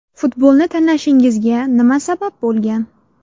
Futbolni tanlashingizga nima sabab bo‘lgan?